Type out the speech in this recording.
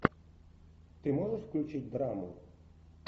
ты можешь включить драму